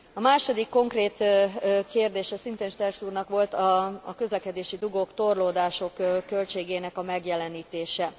A második konkrét kérdése szintén Sterckx úrnak volt a közlekedési dugók, torlódások költségének a megjelenítése.